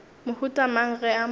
mohuta mang ge a mo